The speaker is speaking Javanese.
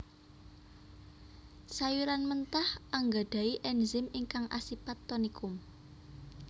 Sayuran mentah anggadhahi ènzim ingkang asipat tonikum